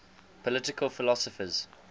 political philosophers